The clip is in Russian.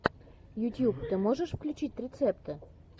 ютьюб ты можешь включить рецепты